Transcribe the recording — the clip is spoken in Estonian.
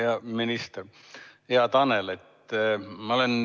Hea minister Tanel!